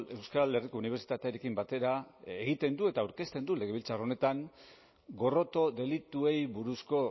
euskal herriko unibertsitatearekin batera egiten du eta aurkezten du legebiltzar honetan gorroto delituei buruzko